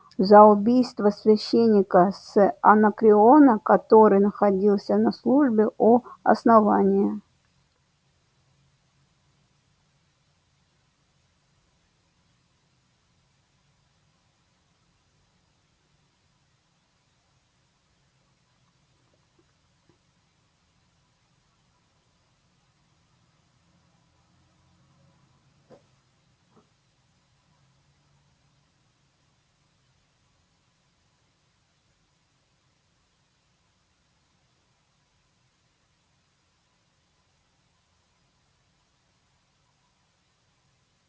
за убийство священника с анакреона который находился на службе у основания